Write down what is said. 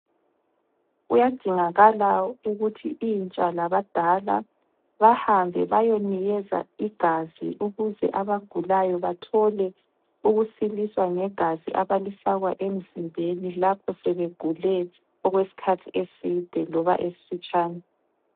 Kuyadingakala ukuthi intsha labadala, bahambe bayonikeza igazi ukuze abagulayo bathole ukusiliswa, ngegazi abalifakwa emzimbeni lapho sebegule okwesikhathi eside loba esifitshane.